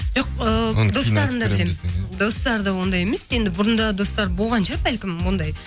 жоқ ыыы достарын да білемін достары да ондай емес енді бұрында достары болған шығар бәлкім ондай